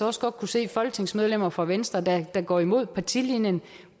også godt kunne se folketingsmedlemmer fra venstre der der går imod partilinjen